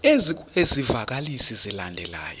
ezikwezi zivakalisi zilandelayo